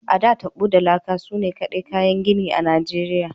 A,da, tabo da laka sune kaɗai kayan gini a Nigeriya.